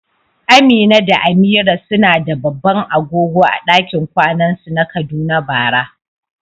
Amina da Amira suna da babban agogo a dakin kwanan su na Kaduna bara.